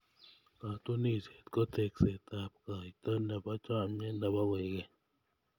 Katunisyet ko tekseetab kaita nebo chomnyet nebo koikeny.